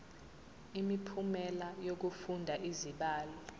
imiphumela yokufunda izibalo